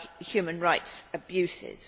human rights abuses.